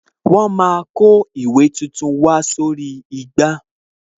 Wọn a kó ìwé tuntun wá sórí igbá